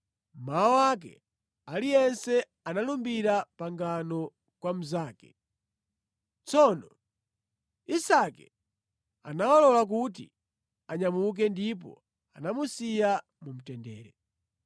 Mmawa wake aliyense analumbira pangano kwa mnzake. Tsono Isake anawalola kuti anyamuke ndipo anamusiya mu mtendere.